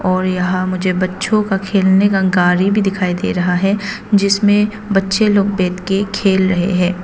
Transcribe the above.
और यहां मुझे बच्चों का खेलने का गाड़ी भी दिखाई दे रहा है जिसमें बच्चे लोग बैठ के खेल रहे हैं।